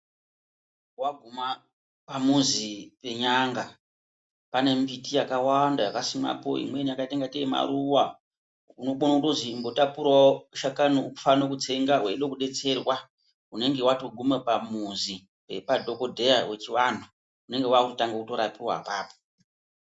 Waguma pamuzi pen'anga pane mbiti yakawanda yakasimwapo, imweni yakaita ngate maruva unokone kuzi imbotapurawo shakani ufane kutsenga weione kubetserwa unenge watoguma pamuzi padhokodheya wechivantu unenge wakutanga kutorapiwa apapo.